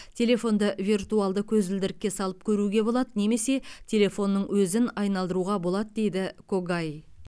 телефонды виртуалды көзілдірікке салып көруге болады немесе телефонның өзін айналдыруға болады дейді когай